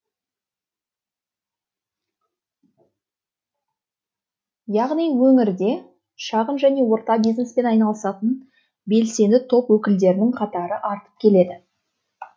яғни өңірде шағын және орта бизнеспен айналысатын белсенді топ өкілдерінің қатары артып келеді